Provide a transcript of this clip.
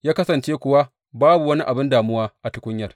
Ya kasance kuwa babu wani abin damuwa a tukunyar.